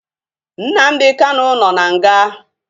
Nnamdi Kanu nọ n'nga